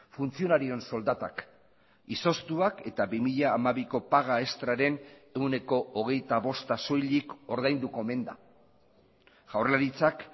funtzionarioen soldatak izoztuak eta bi mila hamabiko paga extraren ehuneko hogeita bosta soilik ordainduko omen da jaurlaritzak